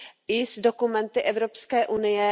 i s dokumenty Evropské unie.